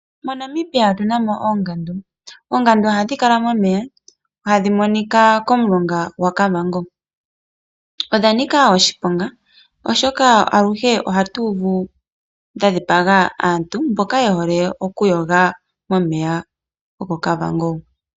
MoNamibia otu na mo oongandu. Oongandu ohadhi kala momeya hadhi monika komulonga gwaKavango. Odha nika oshiponga, oshoka aluhe ohatu uvu dha dhipaga aantu mboka ye hole okuyoga momeya gokOkavango.